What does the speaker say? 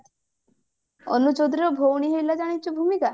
ଅନୁ ଚୌଧୁରୀ ର ଭଉଣୀ ହେଇଥିଲା ଜାଣିଛୁ ଭୂମିକା